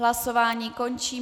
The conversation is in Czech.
Hlasování končím.